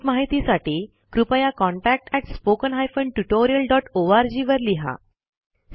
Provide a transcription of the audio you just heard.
अधिक माहितीसाठी कृपया contactspoken tutorialorg वर लिहा